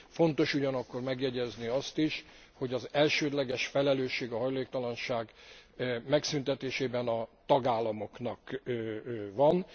Fontos ugyanakkor megjegyezni azt is, hogy az elsődleges felelőssége a hajléktalanság megszüntetésében a tagállamoknak van.